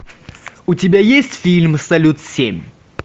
у тебя есть фильм салют семь